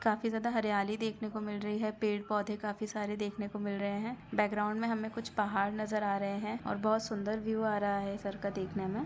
काफी ज्यादा हरियाली दिखने को मिल रही है पेड़-पौधे काफी सारे देखने को मिल रहे है बैकग्राउंड में हमें कुछ पहाड़ नजर आ रहे है और बहोत सुंदर व्यू आ रहा हैं इस सरका देखने में --